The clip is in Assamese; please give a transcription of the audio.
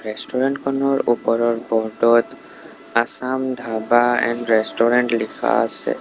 ৰেষ্টুৰেণ্ট খনৰ ওপৰত বৰ্ড ত আছাম ধাবা এণ্ড ৰেষ্টুৰেণ্ট লিখা আছে।